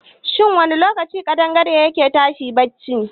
Shin wani lokaci kaɗangare ya ke tashi a barci?